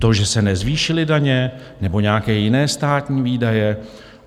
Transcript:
To, že se nezvýšily daně, nebo nějaké jiné státní výdaje?